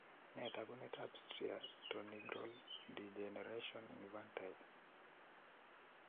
Nee taakunetaab Striatonigral degeneration infantile?